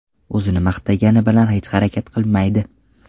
O‘zini maqtagani bilan hech harakat qilmaydi.